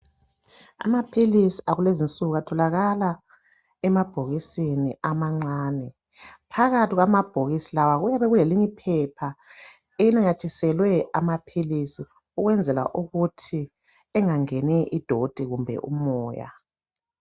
Amaphilisi akulezinsuku atholakala emabhokisini amancane. Phakathi kwamabhokisi lawa kuyabe kuleyinye iphepha elinamathiselwe amaphilisi ukwenzela ukuthi angangeni idoti kumbe umoya.